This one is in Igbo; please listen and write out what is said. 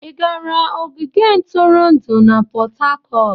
Ị gara ogige ntụrụndụ na Port Harcourt?